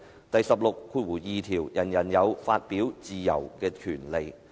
"第十六條第二款則訂明"人人有發表自由之權利"。